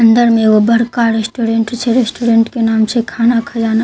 अंदर मे एगो बड़का रेस्टोरेंट छे। रेस्टोरेंट के नाम छै खाना खजाना--